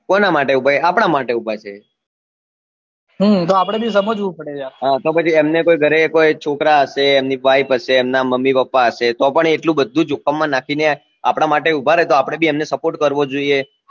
કોના માટે ઉભા છે આપના માટે ઉભા છે હમ તો આપડે ભી સમજવું પડે યાર તો પછી અમને કોઈ ઘરે છોકરા હશે એમની wife હશે અમના mummy papa હશે તો પણ એ એટલું બધું જોખમ માં નાખી ને આપડા માટે ઉભા રે તો આપડે ભી અમને support કરવો જોઈએ